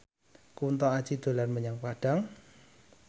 Kunto Aji dolan menyang Padang